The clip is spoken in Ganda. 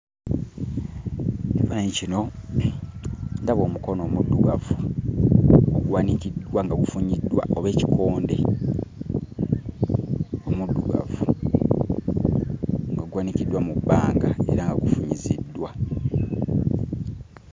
Ekifaananyi kino ndaba omukono omuddugavu oguwanikiddwa nga gufunyiddwa oba ekikonde omuddugavu nga guwanikiddwa mu bbanga era nga gufunyiziddwa.